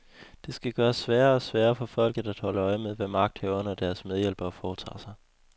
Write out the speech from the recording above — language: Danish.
Det skal gøres sværere og sværere for folket at holde øje med, hvad magthaverne og deres medhjælpere foretager sig.